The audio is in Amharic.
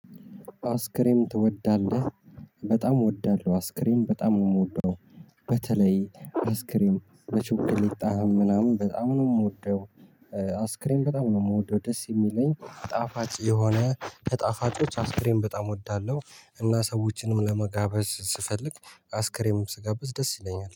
አይስክሬም ትወዳለህ? በጣም እወዳለሁ አይስክሬም በጣም የምወደው በተለይ አይስክሬም በቸኮሌት ጣዕም ምናምን በጣም ነው የምወደው አይስክሬም በጣም ነው የምወደው ደስ የሚለኝ ጣፋጭ የሆነ ከጣፋጮች አይስክሬም በጣም እወዳለሁ እና ሰዎችንም ለመጋበዝ ስፈልግ አይስክሬም ስጋብዝ ደስ ይለኛል።